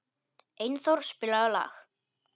Einþór, spilaðu lag.